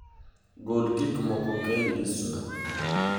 gol gik moko ke list na